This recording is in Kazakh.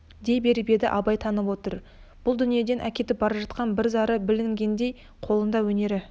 дей беріп еді абай танып отыр бұл дүниеден әкетіп бара жатқан бір зары білінгендей қолында өнері